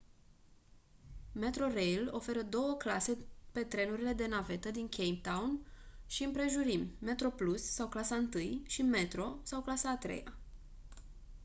metrorail oferă două clase pe trenurile de navetă din cape town și împrejurimi: metroplus sau clasa întâi și metro sau clasa a treia